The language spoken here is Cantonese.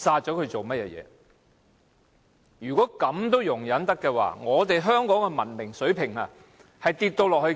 "假如連這事也可容忍的話，便可見得香港的文明水平是如何的低落了。